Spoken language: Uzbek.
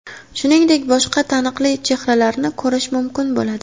Shuningdek, boshqa taniqli chehralarni ko‘rish mumkin bo‘ladi.